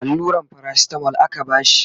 alluran paracetamol aka bashi